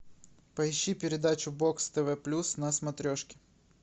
поищи передачу бокс тв плюс на смотрешке